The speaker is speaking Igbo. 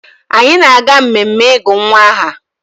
Anyị na-aga mmemme ịgụ nwa aha